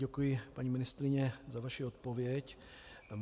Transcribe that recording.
Děkuji, paní ministryně, za vaši odpověď.